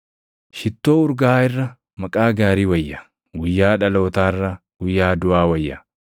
Shittoo urgaaʼaa irra maqaa gaarii wayya; guyyaa dhalootaa irra guyyaa duʼaa wayya.